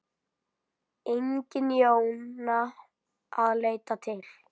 Engin Jóna að leita til.